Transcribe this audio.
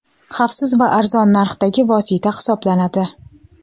xavfsiz va arzon narxdagi vosita hisoblanadi.